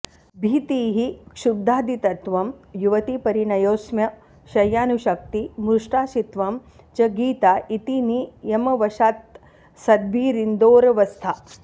भीतिः क्षुद्बाधितत्वं युवतिपरिणयो स्म्यशय्यानुषाक्ति मृर्ष्टाशित्वं च गीता इति नियमवशात्सद्भिरिन्दोरवस्था